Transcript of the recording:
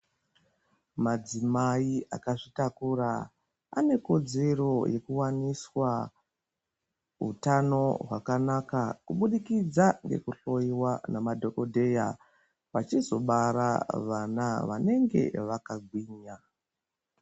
Madzimai akazvitakura anekodzero yekuwaniswa hutano hwakanaka kubudikidza ngekuhloiwa ngamadhokodheya vachizobara vana vanenge vakagwinya.